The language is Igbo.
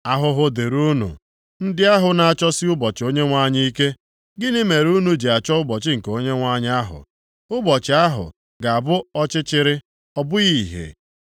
Ahụhụ dịrị unu, + 5:18 Maọbụ, Azịgba unu ndị ahụ na-achọsi ụbọchị Onyenwe anyị ike. Gịnị mere unu ji achọ ụbọchị nke Onyenwe anyị ahụ? Ụbọchị ahụ ga-abụ ọchịchịrị, ọ bụghị ìhè.